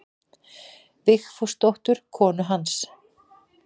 Vigfúsdóttur konu hans.